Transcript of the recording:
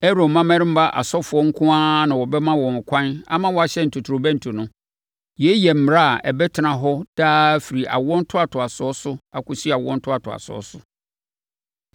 “Aaron mmammarima asɔfoɔ nko ara na wɔbɛma wɔn ɛkwan ama wɔahyɛn ntotorobɛnto no. Yei yɛ mmara a ɛbɛtena hɔ daa afiri awoɔ ntoatoasoɔ so akɔsi awoɔ ntoatoasoɔ so.